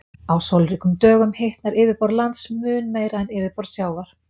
Á sólríkum dögum hitnar yfirborð lands mun meira en yfirborð sjávar.